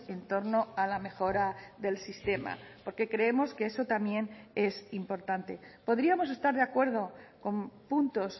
en torno a la mejora del sistema porque creemos que eso también es importante podríamos estar de acuerdo con puntos